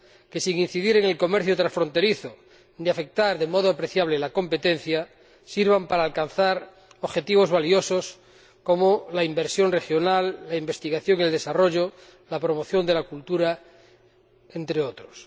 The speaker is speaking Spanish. que, sin incidir en el comercio transfronterizo, ni afectar de modo apreciable a la competencia, sirvan para alcanzar objetivos valiosos como la inversión regional, la investigación en el desarrollo y la promoción de la cultura, entre otros.